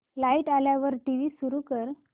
light आल्यावर TV सुरू कर